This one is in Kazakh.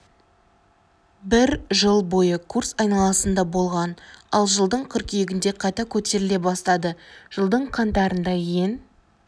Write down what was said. бір жыл бойы курс айналасында болған ал жылдың қыркүйегінде қайта көтеріле бастады жылдың қаңтарында ең